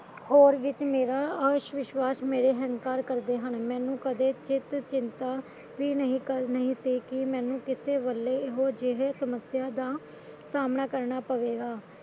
ਹੋਰ ਵਿੱਚ ਮੇਰਾ ਅਸ਼ਵਿਸ਼ਵਾਸ਼ ਮੇਰਾ ਹਿੰਕਾਰ ਕਰਦੇ ਹਨ ਮੈਨੂੰ ਕਦੇ ਚਿੱਤ ਚਿੰਤਾ ਵੀ ਨਹੀਂ ਕਰਨੀ ਨਹੀਂ ਸੀ ਕਿ ਮੈਨੂੰ ਕਿਸੇ ਵੇਲੇ ਇਹੋ ਜਿਹੇ ਸਮੱਸਿਆ ਦਾ ਸਾਹਮਣਾਂ ਕਰਨਾ ਪਵੇਗਾ